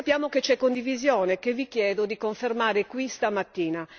Sappiamo che c'è condivisione che vi chiedo di confermare qui stamattina.